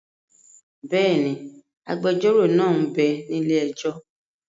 Bẹ́ẹ̀ni, agbẹjọ́rò náà m bẹ ní ilé-ẹjọ́